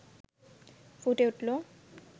ফুটে উঠল